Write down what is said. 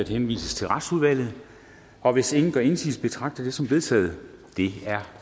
henvises til retsudvalget og hvis ingen gør indsigelse betragter jeg det som vedtaget det er